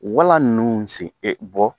Walan ninnu sen bɔ